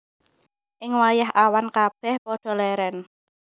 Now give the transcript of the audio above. Ing wayah awan kabèh padha lèrèn